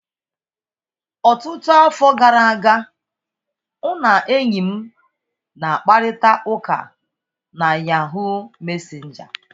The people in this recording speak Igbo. Ọtụtụ afọ gara aga, ụ na enyi m na-akparịta ụka na Yahuu mesenja.